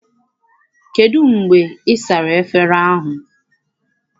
Kedụ mgbe ị sara efere ahụ?